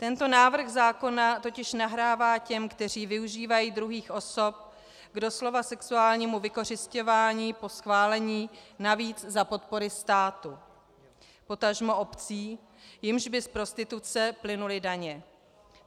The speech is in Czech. Tento návrh zákona totiž nahrává těm, kteří využívají druhých osob k doslova sexuálnímu vykořisťování, po schválení, navíc za podpory státu, potažmo obcí, jimž by z prostituce plynuly daně.